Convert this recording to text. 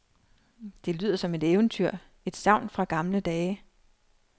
Det lyder som et eventyr, et sagn fra gamle dage.